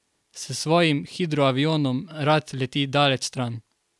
S svojim hidroavionom rad leti daleč stran.